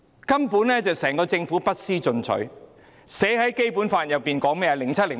根本整個政府不思進取，《基本法》怎樣寫的呢？